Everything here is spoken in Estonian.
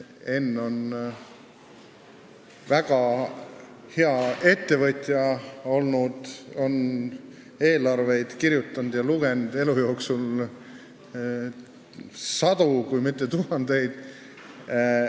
Enn on olnud väga hea ettevõtja, ta on elu jooksul kirjutanud ja lugenud sadu, kui mitte tuhandeid eelarveid.